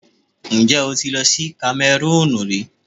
Ǹjẹ́ o ti lọ sí Kamẹrúùnù rí?